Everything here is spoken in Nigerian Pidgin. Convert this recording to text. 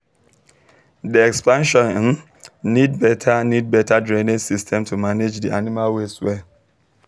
the expansion um need better need better drainage system to manage the animal waste well